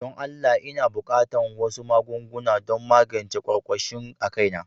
Don Allah n'na buƙatan wasu magunguna don magance kwarkwashi a kai na.